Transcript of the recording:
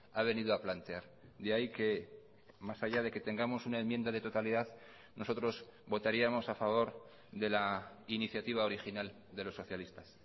ha venido a plantear de ahí que más allá de que tengamos una enmienda de totalidad nosotros votaríamos a favor de la iniciativa original de los socialistas